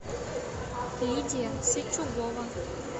лидия сычугова